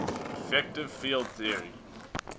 effective field theory